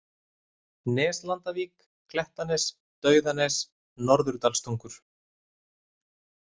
Neslandavík, Klettanes, Dauðanes, Norðurdalstungur